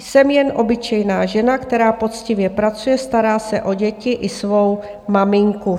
Jsem jen obyčejná žena, která poctivě pracuje, stará se o děti i svou maminku.